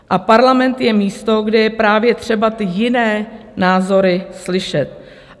A parlament je místo, kde je právě třeba ty jiné názory slyšet.